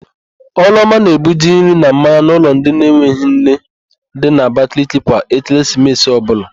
Ọlụọma na-ebuje nri na mmanya n'ụlọ ndị enweghị nne dị n'Abakaliki kwa Ekeresimesi ọbụla.